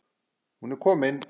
Hún er komin,